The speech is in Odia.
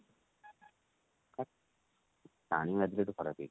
ପାଣି ବାଜିଲେ ସେଠି ଖରାପ ହେଇଯିବୁ।